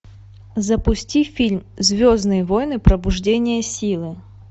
запусти фильм звездные войны пробуждение силы